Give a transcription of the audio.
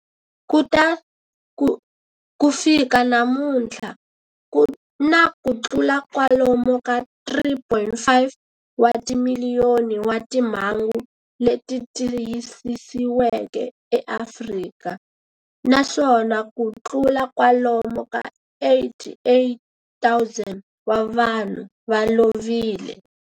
Ku fika namuntlha ku na kutlula kwalomu ka 3.5 wa timiliyoni wa timhangu leti tiyisisiweke eAfrika, naswona kutlula kwalomu ka 88,000 wa vanhu va lovile.